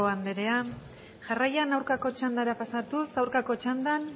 andrea jarraian aurkako txandara pasatuz aurkako txandan